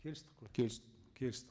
келістік қой келістік келістік